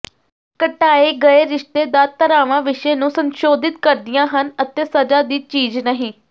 ਘਟਾਏ ਗਏ ਰਿਸ਼ਤੇਦਾਰ ਧਾਰਾਵਾਂ ਵਿਸ਼ੇ ਨੂੰ ਸੰਸ਼ੋਧਿਤ ਕਰਦੀਆਂ ਹਨ ਅਤੇ ਸਜ਼ਾ ਦੀ ਚੀਜ਼ ਨਹੀਂ